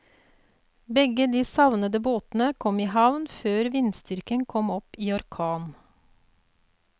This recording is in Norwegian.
Begge de savnede båtene kom i havn før vindstyrken kom opp i orkan.